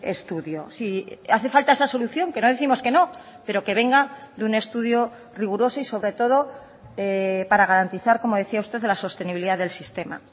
estudio si hace falta esa solución que no décimos que no pero que venga de un estudio riguroso y sobre todo para garantizar como decía usted la sostenibilidad del sistema